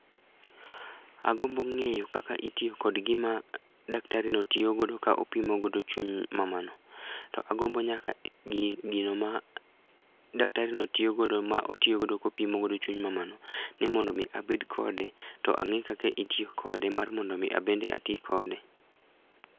Agombo ng'eyo kaka itiyo kod gima daktarino tiyogodo ka opimogodo chuny mamano, to agombo nyaka gino ma daktarino tiyogodo ma otiyogodo kopimogodo chuny mamano ni mondo omi abed kode to ang'e kaka itiyo kode mar mondo omi abende ati kode.